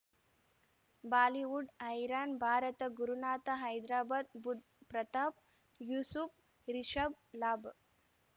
Bollywood ಹೈರಾಣ್ ಭಾರತ ಗುರುನಾಥ ಹೈದ್ರಾಬಾದ್ ಬುಧ್ ಪ್ರತಾಪ್ ಯೂಸುಫ್ ರಿಷಬ್ ಲಾಬ್